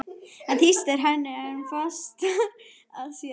Hann þrýstir henni enn fastar að sér.